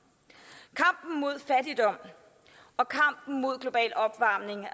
kampen mod fattigdom og kampen mod global opvarmning